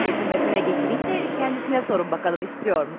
Gətirməsinə gətirim, amma özünə sorun baxaq istəyirmi?